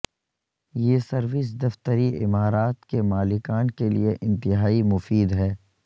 یہ سروس دفتری عمارات کے مالکان کے لئے انتہائی مفید ہے